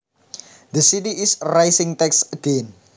The city is raising taxes again